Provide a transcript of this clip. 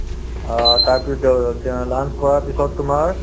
অ, তাৰপিছত দ দে launch কৰাৰ পিছত তোমাৰ